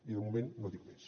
i de moment no dic més